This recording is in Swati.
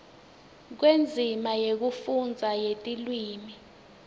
kwendzima yekufundza yetilwimi